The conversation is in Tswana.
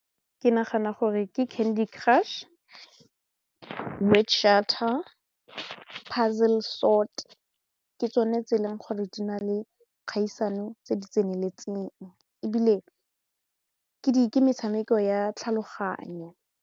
Ke nagana gore ke candy crush, , puzzle sort ke tsone tse e leng gore di na le kgaisano tse di tseneletseng ebile ke metshameko ya tlhaloganyo.